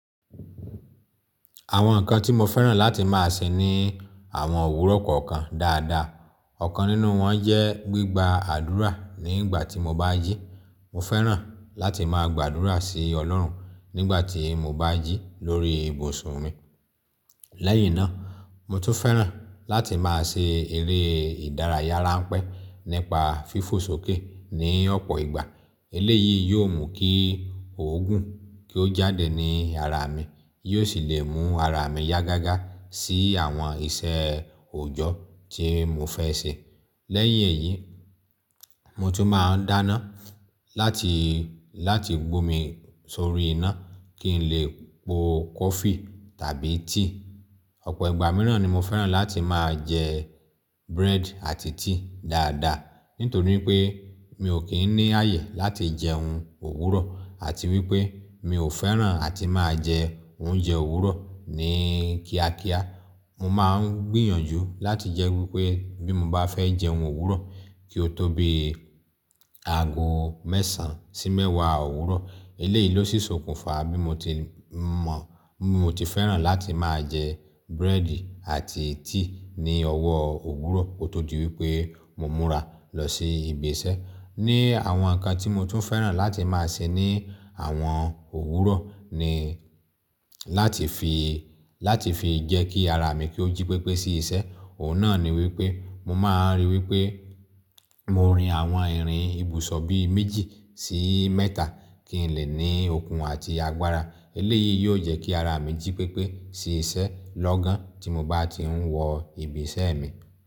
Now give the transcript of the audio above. Àwọn nǹkan tí mo fẹ́ràn láti máa ṣe ni àwọn òwúrọ̀ kọ̀ọ̀kan dáadáa. Ọ̀kan nínú wọn jẹ́ gbígba àdúrà nígbà tí mo bá jí. Mo fẹ́ràn láti máa gbàdúrà sí Ọlọ́run nígbà tí mo bá jí lórí ibùsùn mi. Lẹ́yìn náà, mo tún fẹ́ràn láti máa ṣe eré ìdárayá rańpẹ́ nípa fífò ṣókè ní ọ̀pọ̀ ìgbà. Eléyìí yóò mú kí òógùn kí ó jáde ní ara mi, yóò sì lè mú ara mi yá gágá sí àwọn ìṣe òjọ́ tí mo fẹ́ ṣe. Lẹ́yìn èyí, mo tún máa n dáná láti, láti gbómi sórí iná kí n lè po kọfí tàbí tíì. Ọ̀pọ̀ ìgbà mìíràn ni mo fẹ́ràn láti máa jẹ búrẹ́dì àti tíì dáadáa. Nítorí pé mi ò kí ń ní ààyè láti jẹun òwúrọ̀ àti wípé mi ò fẹ́ràn àti máa jẹ oúnjẹ òwúrọ̀ ní kíákíá. Mo máa ń gbìyànjú láti jẹ́ wípé bí mo bá fẹ́ jẹun òwúrọ̀ kí ó tóbi ago mẹ́sàn sí mẹ́wàá òwúrọ̀. Eléyìí ló sì sokùnfa bí mo ti mọ̀. Mo ti fẹ́ràn láti máa jẹ búrẹ́dì àti tíì ní ọwọ́ òwúrọ̀ kó tó di wípé mo múra lọ sí ibi iṣẹ́. Ni àwọn nǹkan tí mo tún fẹ́ràn láti máa ṣe ní àwọn òwúrọ̀ ni láti fi, láti fi jẹ́ kí ara mi kí ó jí pépé sí iṣẹ́. Òun náà ni wípé mo máa ń rí i wípé mo rin àwọn ìrìn ibùsọ̀ bí méjì sí mẹ́ta kí n lè ní okun àti agbára. Eléyìí yóò jẹ́ kí ara mi jí pépé sí iṣẹ́ lọ́gán tí mo bá ti ń wọ ibi iṣẹ́ mi.